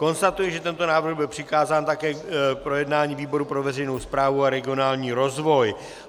Konstatuji, že tento návrh byl přikázán také k projednání výboru pro veřejnou správu a regionální rozvoj.